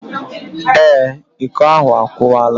Ee, Iko ahu akuwala